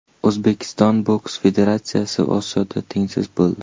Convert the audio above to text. O‘zbekiston boks federatsiyasi Osiyoda tengsiz bo‘ldi.